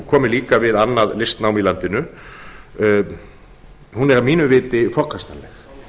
komi líka við annað listnám í landinu hún er að mínu viti forkastanleg